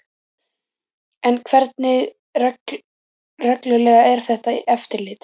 En hversu reglulegt er þetta eftirlit?